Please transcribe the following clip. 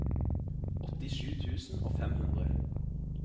åttisju tusen og fem hundre